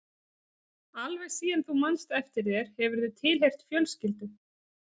Alveg síðan þú manst eftir þér hefurðu tilheyrt fjölskyldu.